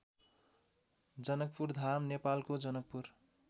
जनकपुरधाम नेपालको जनकपुर